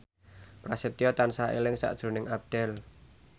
Prasetyo tansah eling sakjroning Abdel